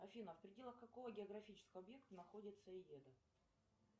афина в пределах какого географического объекта находится эеда